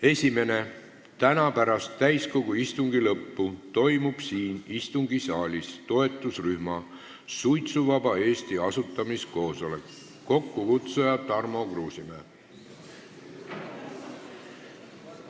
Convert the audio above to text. Esiteks, täna pärast täiskogu istungi lõppu toimub siin istungisaalis toetusrühma Suitsuvaba Eesti asutamiskoosolek, kokkukutsuja on Tarmo Kruusimäe.